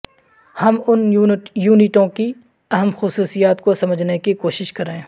ہم ان یونٹوں کی اہم خصوصیات کو سمجھنے کی کوشش کریں